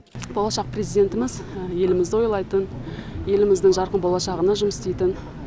болашақ президентіміз елімізді ойлайтын еліміздің жарқын болашағына жұмыс істейтін